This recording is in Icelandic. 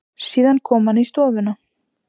Síðan kom hann í stofuna.